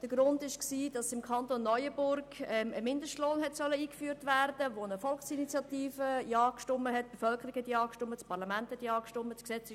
Der Grund dafür war, dass im Kanton Neuenburg aufgrund einer Volksinitiative ein Mindestlohn hätte eingeführt werden sollen, für welchen sich die Bevölkerung in einer Volksabstimmung und das Parlament ausgesprochen hatten.